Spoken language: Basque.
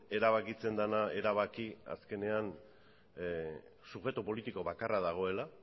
erabakitzen dana erabaki azkenean subjektu politiko bakarra dagoela